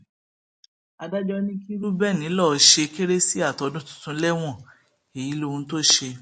adájọ ní kí reuben lọọ ṣe kérésì àtọdún tuntun lẹwọn èyí lohun tó ṣe